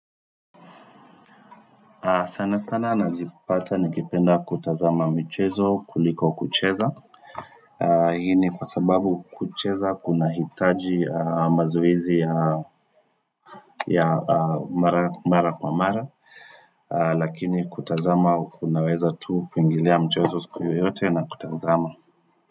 Sana sana najipata nikipenda kutazama mchezo kuliko kucheza hii ni kwa sababu kucheza kuna hitaji mazoezi ya mara kwa mara lakini kutazama kunaweza tu kuingilia mchezo siku yoyote na kutazama.